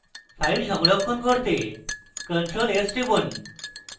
file সংরক্ষণ করতে ctrl + s টিপুন